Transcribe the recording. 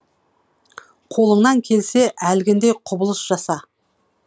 қолыңнан келсе әлгіндей құбылыс жаса